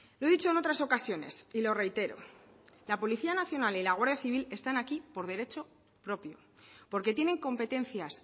lo he dicho en otras ocasiones y lo reitero la policía nacional y la guardia civil están aquí por derecho propio porque tienen competencias